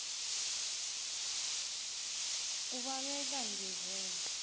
ubaleka nje vele